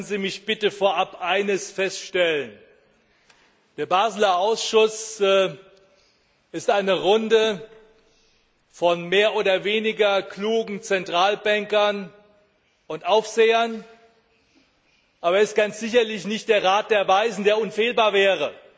Lassen Sie mich bitte vorab eines feststellen Der Basler Ausschuss ist eine Runde von mehr oder weniger klugen Zentralbankern und Aufsehern, aber er ist ganz sicherlich nicht der Rat der Weisen, der unfehlbar wäre,